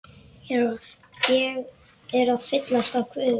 Ég er að fyllast af kvefi.